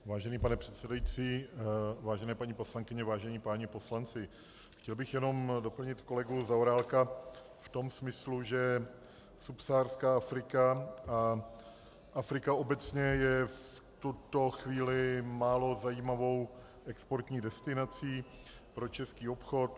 Vážený pane předsedající, vážené paní poslankyně, vážení páni poslanci, chtěl bych jenom doplnit kolegu Zaorálka v tom smyslu, že subsaharská Afrika a Afrika obecně je v tuto chvíli málo zajímavou exportní destinací pro český obchod.